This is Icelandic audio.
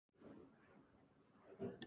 Ávallt glaður og reifur.